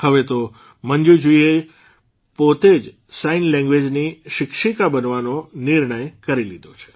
હવે તો મંજૂજીએ પોતે જ સાઇન લેંગ્વેઝની શિક્ષીકા બનવાનો નિર્ણય કરી લીધો છે